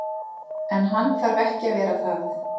En hann þarf ekki að vera það.